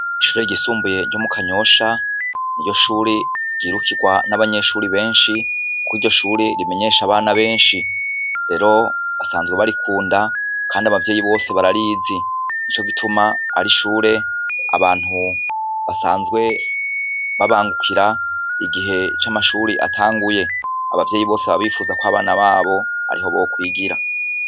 Ishure ryisumbuye ryo mu kanyosha ni yo shure ryirukirwa n'abanyeshuri benshi kukko iryo shure rimenyesha abana benshi rero basanzwe barikunda, kandi abavyeyi bose bararizi ni co gituma ari ishure abantu basanzwe babangukira igihe c'amashuri ati hanguye abavyeyi bose babifuza ko abana babo ariho bokwigira.